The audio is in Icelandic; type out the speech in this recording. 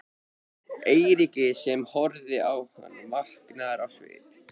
Eiríki sem horfði á hann, vankaður á svip.